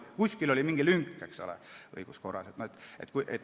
Kuskil oli õiguskorras mingi lünk.